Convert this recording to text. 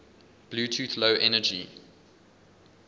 bluetooth low energy